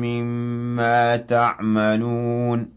مِّمَّا تَعْمَلُونَ